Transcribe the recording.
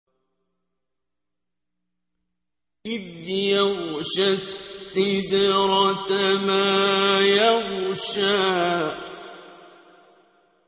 إِذْ يَغْشَى السِّدْرَةَ مَا يَغْشَىٰ